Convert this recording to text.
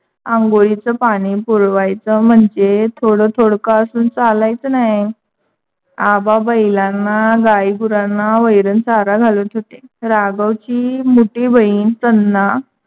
आंघोळीच पानी पुरवायच म्हणजे थोड थोडक असून चालायच नाही. आबा बैलांना, गाई गुरांना वैरण चारा घालत होते. राघव ची मोठी बहीण त्यांना